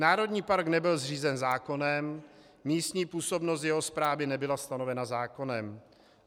Národní park nebyl zřízen zákonem, místní působnost jeho správy nebyla stanovena zákonem.